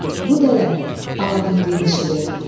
Bu dələnin, aladimdinin işidir.